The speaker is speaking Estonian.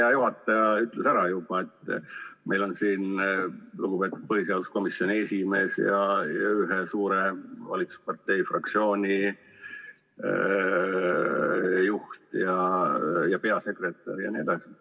Hea juhataja ütles ära juba, et meil on siin lugupeetud põhiseaduskomisjoni esimees ja ühe suure valitsuspartei fraktsiooni juht ja peasekretär ja nii edasi.